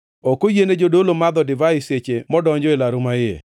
Ok oyiene jadolo madho divai seche modonjo e laru maiye.